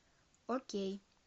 окей